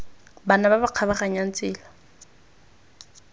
bana ba ba kgabaganyang tsela